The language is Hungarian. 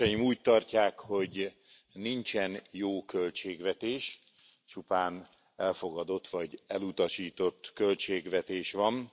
Úgy tartják, hogy nincsen jó költségvetés, csupán elfogadott vagy elutasított költségvetés van.